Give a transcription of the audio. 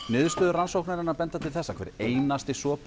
niðurstöður rannsóknarinnar benda til þess að hver einasti